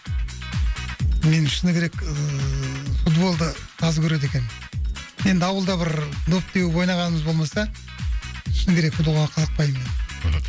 мен шыны керек ыыы футболды аз көреді екенмін енді ауылда бір доп теуіп ойнағанымыз болмаса шыны керек футболға қызықпаймын мен мхм